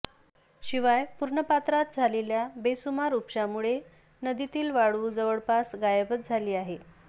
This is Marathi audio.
शिवाय पूर्णपात्रात झालेल्या बेसुमार उपशामुळे नदीतील वाळू जवळपास गायबच झालेली आहे